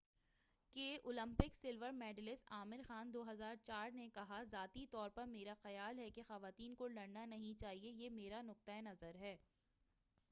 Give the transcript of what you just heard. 2004ء کے Olympic silver medalist Aamir Khan نے کہا،”ذاتی طور پر میرا خیال ہے کہ خواتین کو لڑنا نہیں چاہیئے یہ میرا نُقطہءِ نظر ہے۔